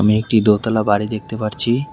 আমি একটি দোতলা বাড়ি দেখতে পারছি।